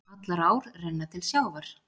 Allar ár renna til sjávar.